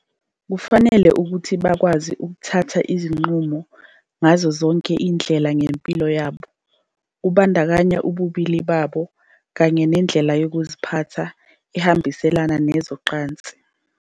Kufanele ukuthi bakwazi ukuthatha izinqumo ngazo zonke izindlela ngempilo yabo, kubandakanya ububili babo kanye nendlela yokuziphatha ehambiselana nezocansi.